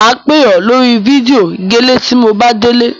Mà á pè ọ lórí fídíò gẹ́lẹ́ tí mo bá délé.